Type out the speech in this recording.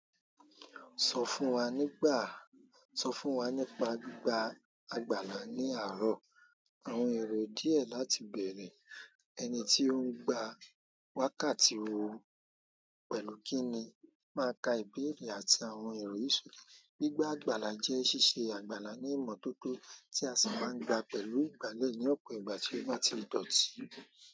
Sọ fún wa nípa gbígba àgbàlá ní àárọ̀, àwọn èrò díẹ̀ láti bẹ̀rẹ̀, ẹni tí ó ń gba wákàtí owó pẹ̀lú kí ni máa ka ìbéèrè àti àwọn èrò history. Gbígba àgbàlá jẹ́ ṣíṣe àgbàlá ní ìmọ́tótó, tí a sì máa ń gba pẹ̀lú ìgbálẹ̀ ní ọ̀pọ̀ ìgbà tí ó bá ti dọ̀tí.